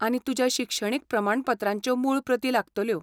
आनी तुज्या शिक्षणीक प्रमाणपत्रांच्यो मूळ प्रती लागतल्यो.